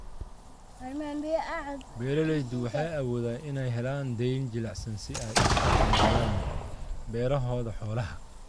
Beeraleydu waxay awoodeen inay helaan deyn jilicsan si ay u horumariyaan beerahooda xoolaha.